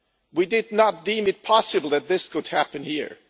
We did not deem it possible that this could happen here.